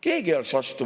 Keegi ei oleks vastu.